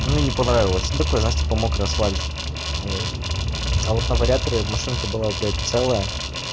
мне не понравилось ну такое знаешь типа мокрый асфальт а вот на вариаторе машинка была блядь целая